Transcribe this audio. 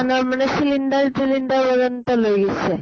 মানৰ মানে cylinder তিলিন্দাৰ পৰ্যন্ত লৈ গৈছে।